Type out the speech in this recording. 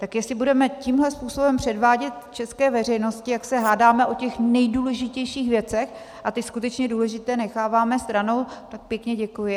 Tak jestli budeme tímhle způsobem předvádět české veřejnosti, jak se hádáme o těch nejdůležitějších věcech a ty skutečně důležité necháváme stranou, tak pěkně děkuji.